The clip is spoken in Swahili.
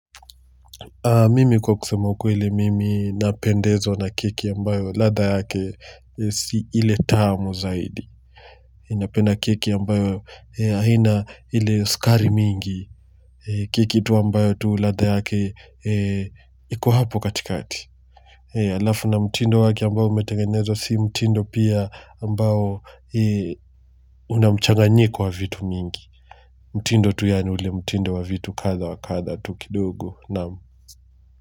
Mimi kwa kusema ukweli, mimi napendezwa na kiki ambayo ladha yake si ile tamu zaidi. Napenda keki ambayo haina ile skari mingi, keki tu ambayo tu ladha yake iko hapo katikati. Alafu na mtindo wake ambayo umetengenezwa si mtindo pia ambayo una mchanganyiko wa vitu mingi. Mtindo tu yani ule mtindo wa vitu katha wa katha tu kidogo na mtindo.